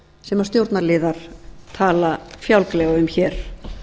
sem stjórnarliðar tala fjálglega um hér